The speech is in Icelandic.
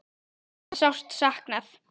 Ykkar er sárt saknað.